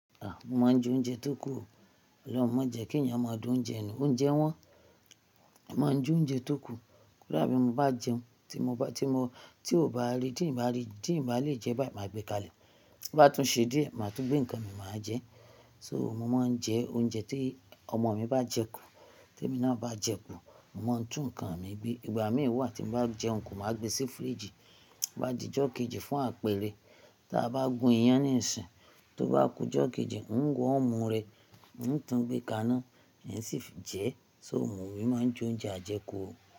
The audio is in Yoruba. Mo máa ń jẹ oúnjẹ tó kù o. Ọ̀lohun má jẹ́ kí ẹ̀yàn máa da oúnjẹ nù. Oúnjẹ wọ́n, a máa ń jẹ oúnjẹ tó kù. Kódà bí mo bá jẹun, tí mo bá, tí mo, tí ò bá rí, tí ǹ bá rí, tí ǹ bá lè jẹẹ́ báì, màá gbe kalẹ̀. Bó bá tún ṣe díẹ̀, màá tún gbé nǹkan mi, màá jẹẹ́. So mo máa ń jẹ oúnjẹ tí ọmọ mi bá jẹ kù, témi náà bá jẹ kù, mo máa ń tún nǹkan mi gbé. Ìgbà míì wà tí n bá jẹun kù, màá gbe sí fíríìjì, tó bá dijọ́ kejì fún àpẹẹrẹ. Tí a bá gún iyán níìsìn, tó bá kujọ́ kejì, n wọ́ọ̀mù rẹ̀, ń tun gbé kaná, ń sì jẹ ẹ́. So mo èmi máa ń j'oúnjẹ àjẹkù o.